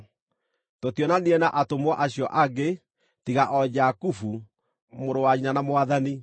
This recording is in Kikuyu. Tũtionanire na atũmwo acio angĩ, tiga o Jakubu, mũrũ wa nyina na Mwathani.